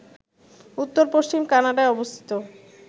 উত্তর-পশ্চিম কানাডায় অবস্থিত